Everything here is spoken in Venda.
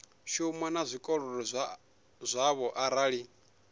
shuma na zwikolodo zwavho arali